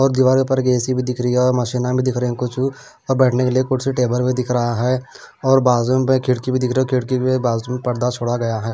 और दीवारों पर की ए_सी भी दिख रही है और माशीनां भी दिख रही है कुछ उ और बैठने के लिए कुछ टेबल भी दिख रहा है और बाजूमपे खिड़की भी दिख रही है और खिड़की बाजूम पर्दा छोड़ा गया है।